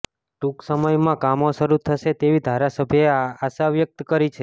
ટુંક સમયમા કામો શરૃ થશે તેવી ધારાસભ્યએ આશા વ્યક્ત કરી છે